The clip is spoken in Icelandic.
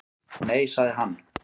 Nei, sagði hann.